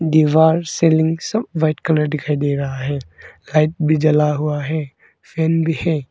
दीवार सिलिंग सब white colour दिखाई दे रहा है लाइट भी जला हुआ है फैन भी है।